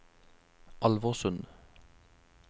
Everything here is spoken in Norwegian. Alversund